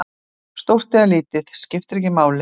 Stórt eða lítið, skiptir ekki máli.